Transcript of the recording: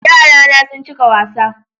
Yarana sun cika wasa